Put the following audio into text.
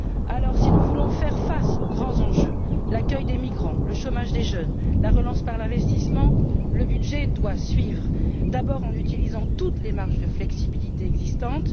Alors, si nous voulons faire face aux grands enjeux l'accueil des migrants, le chômage des jeunes, la relance par l'investissement le budget doit suivre, d'abord en utilisant toutes les marges de flexibilité existantes.